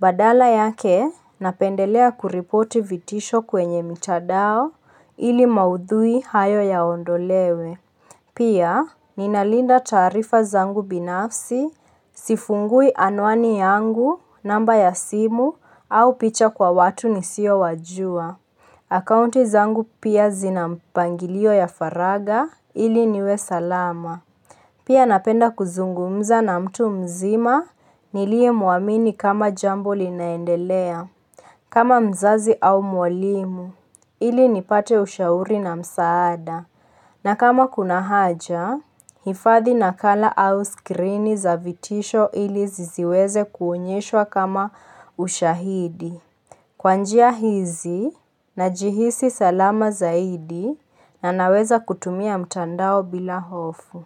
Badala yake, napendelea kuripoti vitisho kwenye mitandao ili maudhui hayo yaondolewe. Pia, ninalinda taarifa zangu binafsi, sifungui anwani yangu, namba ya simu, au picha kwa watu nisiowajua. Akaunti zangu pia zina mpangilio ya faragha, ili niwe salama. Pia napenda kuzungumza na mtu mzima, niliyemuamini kama jambo linaendelea. Kama mzazi au mwalimu, ili nipate ushauri na msaada. Na kama kuna haja, hifadhi nakala au skrini za vitisho ili zisiweze kuonyeshwa kama ushahidi. Kwanjia hizi, najihisi salama zaidi na naweza kutumia mtandao bila hofu.